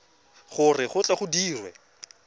gore go tle go dirwe